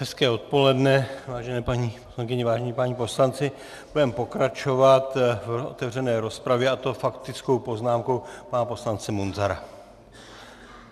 Hezké odpoledne, vážené paní poslankyně, vážení páni poslanci, budeme pokračovat v otevřené rozpravě, a to faktickou poznámkou pana poslance Munzara.